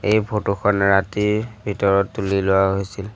এই ফটো খন ৰাতিৰ ভিতৰত তুলি লোৱা হৈছিল।